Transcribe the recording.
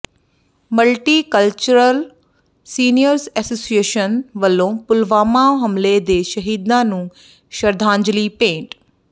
multi cultural seniors association ਵੱਲੋਂ ਪੁਲਵਾਮਾ ਹਮਲੇ ਦੇ ਸ਼ਹੀਦਾਂ ਨੂੰ ਸ਼ਰਧਾਂਜਲੀ ਭੇਂਟ